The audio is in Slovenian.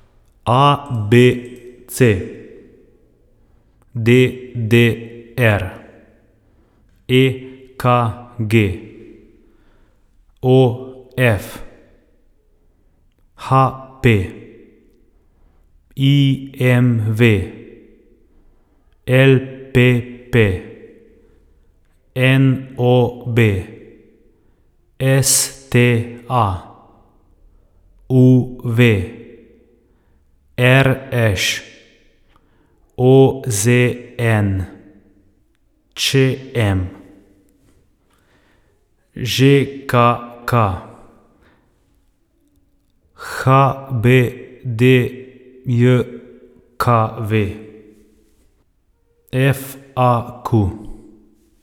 A B C; D D R; E K G; O F; H P; I M V; L P P; N O B; S T A; U V; R Š; O Z N; Č M; Ž K K; H B D J K V; F A Q.